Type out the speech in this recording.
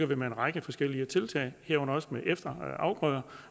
vi med en række forskellige tiltag herunder efterafgrøder